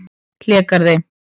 Hlégarði